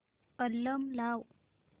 album लाव